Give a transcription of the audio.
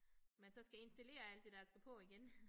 Man så skal installere alt det der skal på igen